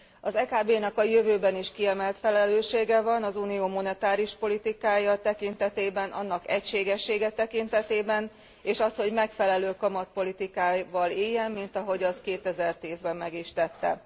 Az EKB nak a jövőben is kiemelt felelőssége van az Unió monetáris politikája tekintetében, annak egységessége tekintetében, és azt hogy megfelelő kamatpolitikával éljen, mint ahogy azt 2010 ben meg is tette.